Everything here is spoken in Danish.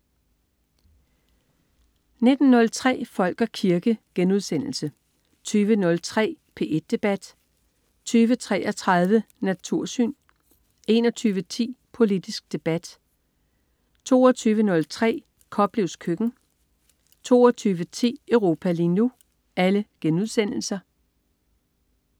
19.03 Folk og kirke* 20.03 P1 Debat* 20.33 Natursyn* 21.10 Politisk debat* 22.03 Koplevs køkken* 22.10 Europa lige nu*